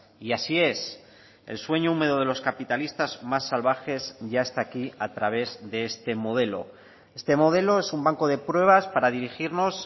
y así es el sueño húmedo de los capitalistas más salvajes ya está aquí a través de este modelo este modelo es un banco de pruebas para dirigirnos